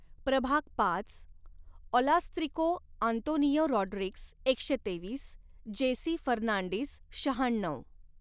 प्रभाग पाच, ऑलास्त्रिको आंतोनियो रॉड्रिग्ज एकशे तेवीस, जेसी फर्नांडिस शहाण्णव.